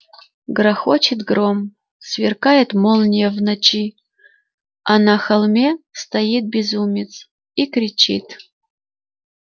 грохочет гром сверкает молния в ночи а на холме стоит безумец и кричит